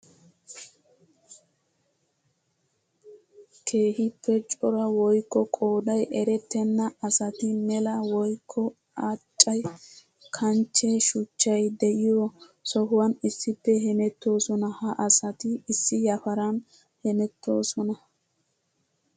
Keehippe cora woykko qooday erettenna asati mela woykko acce kanchche shuchchay de'iyo sohuwan issippe hemettosonna. Ha asatti issi yafaran hemettosona.